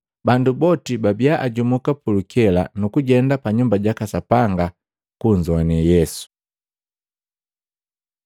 Bandu boti babia ajumuka pulukela nukujenda pa Nyumba jaka Sapanga, kunzoane Yesu.